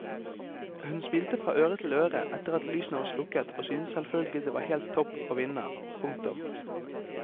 Hun smilte fra øre til øre etter at lysene var slukket og syntes selvfølgelig det var helt topp å vinne. punktum